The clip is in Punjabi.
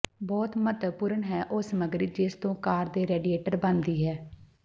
ਬਹੁਤ ਮਹੱਤਵਪੂਰਨ ਹੈ ਉਹ ਸਮੱਗਰੀ ਜਿਸ ਤੋਂ ਕਾਰ ਦੀ ਰੇਡੀਏਟਰ ਬਣਦੀ ਹੈ